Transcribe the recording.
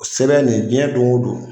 O sɛbɛn in diɲɛ don ko don.